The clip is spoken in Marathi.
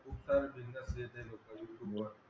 खूप सारे business देते लोक youtube वर